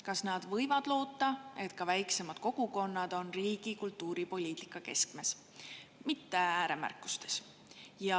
Kas nad võivad loota, et ka väiksemad kogukonnad on riigi kultuuripoliitika keskmes, mitte vaid ääremärkuste seas?